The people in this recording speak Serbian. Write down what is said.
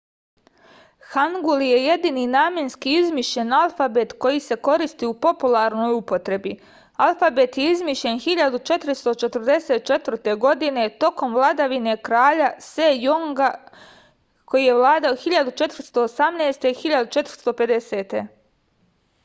хангул је једини наменски измишљен алфабет који се користи у популарној употреби. алфабет је измишљен 1444. године током владавине краља сејонга 1418-1450